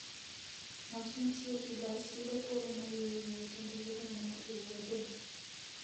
Ng'at ma tiyo gi bas yudo thuolo mar yueyo kendo yudo mor e wuodhno.